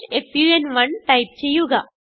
fun1 type ചെയ്യുക